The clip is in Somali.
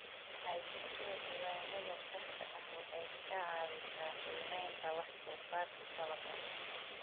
Haysashada diiwaannada saxda ah waxay ka caawisaa qiimaynta wax-soo-saarka dalagga.